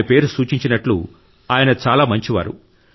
ఆయన పేరు సూచించినట్లు ఆయన చాలా మంచివారు